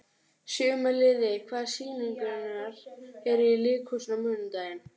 Gýmir, hvað er á áætluninni minni í dag?